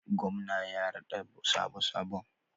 Gwamna ya raɗa sabo sabon.